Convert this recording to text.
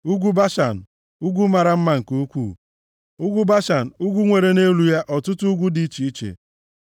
Ugwu Bashan, ugwu mara mma nke ukwuu, ugwu Bashan, ugwu nwere nʼelu ya ọtụtụ ugwu dị iche iche.